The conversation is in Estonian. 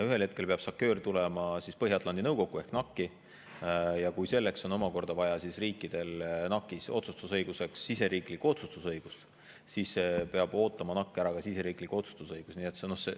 Ühel hetkel peab SACEUR tulema Põhja-Atlandi Nõukogusse ehk NAC-i ja kui riikidel on vaja NAC-is otsustusõiguseks omakorda siseriiklikku otsustusõigust, siis peab NAC ära ootama ka siseriikliku otsustusõiguse.